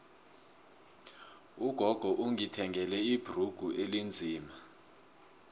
ugogo ungithengele ibhrugu elinzima